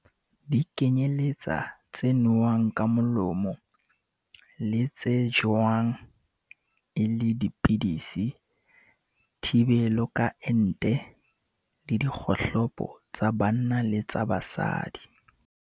Di kenyeletsa tse nowang ka molomo, tse tsejwang e le 'pidisi', thibelo ka ente, le dikgohlopo tsa banna le tsa basadi.